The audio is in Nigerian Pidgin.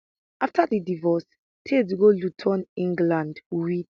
afta di divorce tate go luton england wit